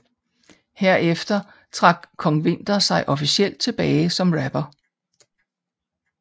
Herefter trak Kong Winther sig officielt tilbage som rapper